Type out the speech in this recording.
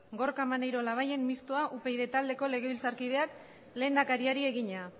gorka maneiro labayen mistoa upyd taldeko legebiltzarkideak lehendakariari egina